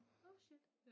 Oh shit